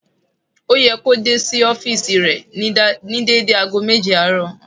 Ó yẹ kí ó dé sí ọ́fììsì rẹ̀ ní dédé ago méje àárọ̀